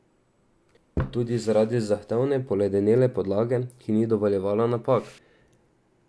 Tudi zaradi zahtevne poledenele podlage, ki ni dovoljevala napak.